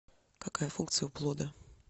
какая функция у плода